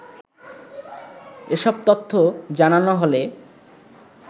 এসব তথ্য জানানো হলে